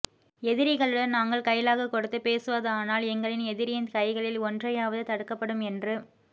எதிரிகளுடன் நாங்கள் கைலாகு கொடுத்துப் பேசுவதானால் எங்களின் எதிரியின் கைகளில் ஒன்றையாவது தடுக்கப்படும் என்று